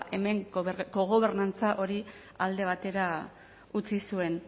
hemen kogobernantza hori alde batera utzi zuen